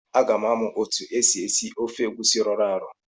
Aga m amụ otu esi esi ofe egusi rọrọ arọ.